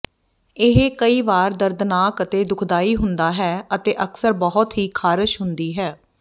ਇਹ ਕਈ ਵਾਰੀ ਦਰਦਨਾਕ ਅਤੇ ਦੁਖਦਾਈ ਹੁੰਦਾ ਹੈ ਅਤੇ ਅਕਸਰ ਬਹੁਤ ਹੀ ਖਾਰਸ਼ ਹੁੰਦੀ ਹੈ